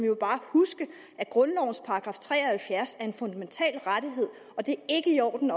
jo bare huske at grundlovens § tre og halvfjerds er en fundamental rettighed og det er ikke i orden